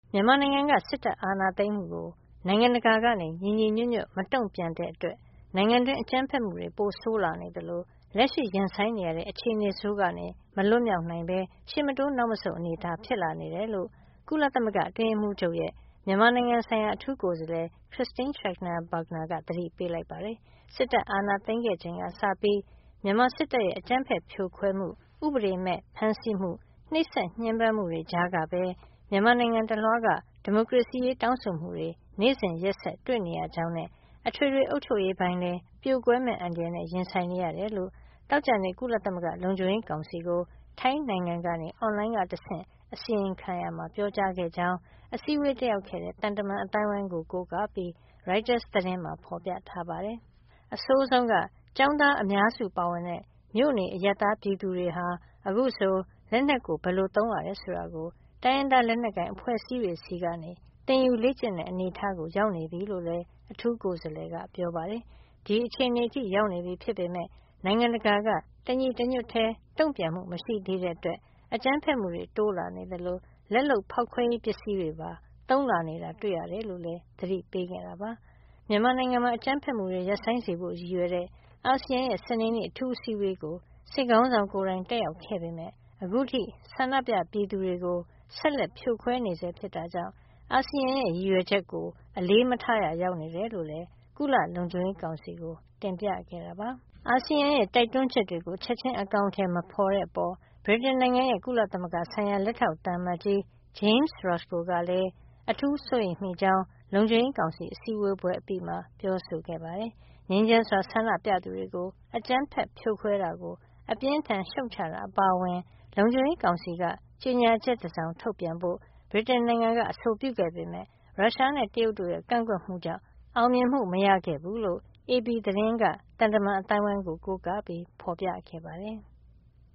မြန်မာနိုင်ငံက စစ်တပ်အာဏာသိမ်းမှု အတွက် နိုင်ငံတကာက ညီညီညွတ်ညွတ် မတုံ့ပြန်တဲ့အတွက် နိုင်ငံတွင်း အကြမ်းဖက်မှုတွေ ပိုဆိုးလာနေသလို လက်ရှိရင်ဆိုင်နေရတဲ့ အခြေနေဆိုးကနေ မလွတ်မြောက်နိုင်ပဲ ရှေ့မတိုးနောက်မဆုတ် အနေထား ဖြစ်လာနေတယ်လို့ ကုလသမဂ္ဂအတွင်းရေးမှုးချုပ်ရဲ့ မြန်မာနိုင်ငံဆိုင်ရာ အထူးကိုယ်စားလှယ် Christine Schraner Burgener က သတိပေးလိုက်ပါတယ်။ စစ်တပ်အာဏာသိမ်းခဲ့ချိန်ကစပြီး မြန်မာစစ်တပ်ရဲ့ အကြမ်းဖက်ဖြိုခွဲမှု၊ ဥပဒေမဲြ့ဖမ်းဆီးမှု၊ နှိပ်စက်ညှင်းပမ်းမှုတွေကြားကပဲ မြန်မာနိုင်ငံတလွှားက ဒီမိုကရေစီရေး တောင်းဆိုမှုတွေ နေ့စဉ်ရက်ဆက်တွေ့နေရကြောင်းနဲ့ အထွေထွေ အုပ်ချုပ်ရေးပိုင်းလည်း ပြိုကွဲမယ့် အန္တရာယ်နဲ့ ရင်ဆိုင်နေရတယ်လို့ သောကြာနေ့က ကုလသမဂ္ဂလုံခြုံရေးကောင်စီကို ထိုင်းနိုင်ငံကနေ အွန်လိုင်းကတဆင့် အစီရင်ခံရာမှာ ပြောကြားခဲ့ကြောင်း အစည်းဝေးတက်ရောက်ခဲ့တဲ့ သံတမန်အသိုင်းအဝန်းကို ကိုးကားပြီး ရိုက်တာသတင်းမှာ ဖေါ်ပြထားပါတယ်။ အဆိုးဆုံးက ကျောင်းသား အများစုပါဝင်တဲ့ မြို့နေအရပ်သားပြည်သူတွေဟာ အခုဆို လက်နက်ကို ဘယ်လိုသုံးရတယ်ဆိုတာကို တိုင်းရင်းသား လက်နက်ကိုင်အဖွဲ့အစည်းတွေ ဆီကနေ သင်ယူလေ့ကျင့် တဲ့အနေထားကို ရောက်နေပြီလို့လည်း အထူးကိုယ်စားလှယ်က ပြောပါတယ်။ ဒီအခြေနေထိရောက်နေပြီ ဖြစ်ပေမဲ့ နိုင်ငံတကာက တညီတညွတ်တည်း တုံ့ပြန်မှု မရှိသေးတာကြောင့် အကြမ်းဖက်မှုတွေတိုးလာ နေသလို လက်လုပ် ဖေါက်ခွဲရေး ပစ္စည်းတွေပါ သုံးလာနေတာ တွေ့နေရတယ်လို့လည်း သတိပေးခဲ့တာပါ။ မြန်မာနိုင်ငံမှာ အကြမ်းဖက်မှုတွေ ရပ်ဆိုင်းစေဖို့ ရည်ရွယ်တဲ့ အာဆီယံရဲ့ စနေနေ့ အထူးအစည်းဝေးကို စစ်ခေါင်းဆောင် ကိုယ်တိုင်တက်ရောက်ခဲ့ပေမဲ့ အခုထိ ဆန္ဒပြပြည်သူတွေကို ဆက်လက်ဖြိုခွဲနေဆဲ ဖြစ်တဲ့အတွက် အာဆီယံရဲ့ရည်ရွယ်ချက်ကို အလေးမထားရာ ရောက်နေတယ်လို့လည်း ကုလလုံခြုံရေးကောင်စီကို တင်ပြခဲ့ပါတယ်။ ဗြိတိန်နိုင်ငံရဲ့ ကုလသမဂ္ဂဆိုင်ရာ လက်ထောက် သံအမတ်ကြီး James Roscoe ကလည်း အာဆီယံရဲ့ တိုက်တွန်းချက်တွေကို ချက်ခြင်းအကောင်အထည် မဖော်တဲ့အပေါ် အထူးစိုးရိမ်မိကြောင်း လုံခြုံရေးကောင်စီ အစည်းအဝေးပွဲ အပြီးမှာပဲ ပြောဆိုခဲ့တာပါ။ ငြိမ်းချမ်းစွာ ဆန္ဒပြသူတွေကို အကြမ်းဖက်ဖြိုခွဲတာကို အပြင်းအထန် ရှုတ်ချတာ အပါအဝင် လုံခြုံရေးကောင်စီက ကြေညာချက်တစောင် ထုတ်ပြန်ဖို့ ဗြိတိန်နိုင်ငံက အဆိုပြုခဲ့ပေမဲ့ ရုရှားနဲ့ တရုတ်နိုင်ငံတို့ရဲ့ ကန့်ကွက်မှုတွေကြောင့် အောင်မြင်မှု မရခဲ့ဘူးလို့လည်း AFP သတင်းက သံတမန်အသိုင်းအဝန်းကို ကိုးကားပြီး ဖော်ပြခဲ့ပါတယ်။